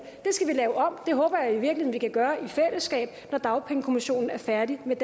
skal vi lave om det håber jeg i virkeligheden kan gøre i fællesskab når dagpengekommissionen er færdig med